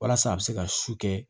Walasa a bɛ se ka su kɛ